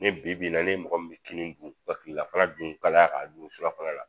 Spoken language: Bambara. Ne bibi in na n'e mɔgɔ min bi kini dun ka kilelafana dun kalaya k'a dun surafana la.